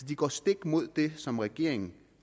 de går stik imod det som regeringen